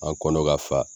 An kɔnɔ ka fa